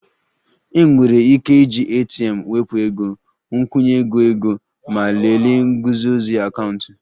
Enwere ike iji ATM wepụ ego, nkwụnye ego ego ma lelee nguzozi akaụntụ